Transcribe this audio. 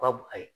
Ka bon ayi